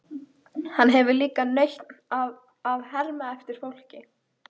Hann hefur líka nautn af að herma eftir fólki.